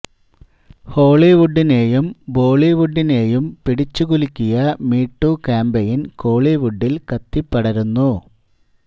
ഹോളിവുഡിനെയും ബോളിവുഡിനെയും പിടിച്ചു കുലുക്കിയ മീ ടു ക്യാമ്പയിൻ കോളിവുഡിൽ കത്തിപ്പടരുന്നു